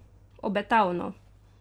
Obetavno!